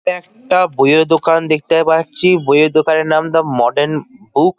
একটা বইও দোকান দেখতে পাচ্ছি। বই-এর দোকানের নাম দা মডার্ন বুক ।